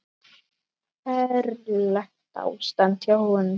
Ferlegt ástand hjá honum.